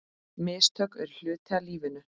Mistök eru hluti af lífinu.